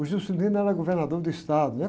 O Juscelino era governador do estado, né?